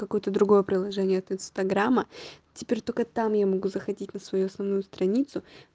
какое-то другое приложение от инстаграма теперь только там я могу заходить на свою основную страницу